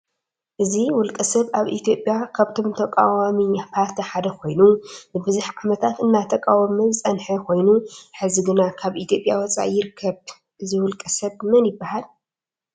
እዚ ውልቀ ሰብ አብ ኢትዮጲያ ካብቶም ተቃወዋሚ ፓርቲ ሐደ ኮይኑ ንብዝሕ ዓመታት እናተቃወመ ዝፀንሐ ኮይኑ ሕዚ ግና ካብ ኢትዮጲያ ወፃኢ ይርከብ ።እዚ ውልቀ ሰብ መን ይበሃል?